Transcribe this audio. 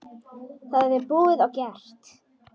Það er búið og gert!